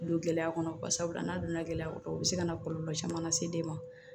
Don gɛlɛya kɔnɔ barisabula n'a donna gɛlɛya kɔnɔ u bɛ se ka na kɔlɔlɔ caman lase den ma